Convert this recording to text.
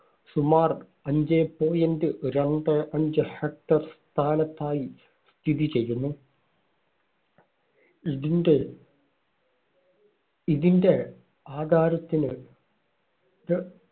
സുമാർ അഞ്ചേ point രണ്ടേ അഞ്ച് hecter സ്ഥാനത്തായി സ്ഥിതി ചെയ്യുന്നു. ഇതിന്റെ ഇതിന്റെ ആധാരത്തിന്